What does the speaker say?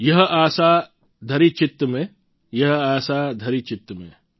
યહ આસા ધરિ ચિત્ત મેં યહ આસા ધરિ ચિત્ત મેં